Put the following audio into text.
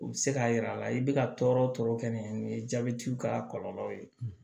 U bɛ se k'a yira a la i bɛ ka tɔɔrɔ tɔɔrɔ kɛ ni jabɛtiw ka kɔlɔlɔw ye